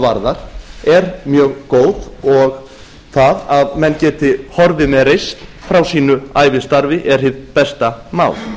varðar er mjög góð og það að menn geti horfið með reisn frá sínu ævistarfinu er hið besta mál